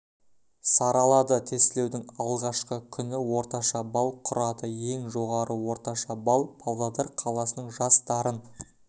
саралады тестілеудің алғашқы күні орташа балл құрады ең жоғары орташа балл павлодар қаласының жас дарын